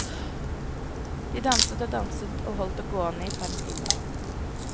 De danset og danset og holdt det gående i fem timer.